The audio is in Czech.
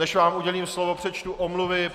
Než vám udělím slovo, přečtu omluvy.